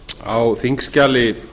á þingskjali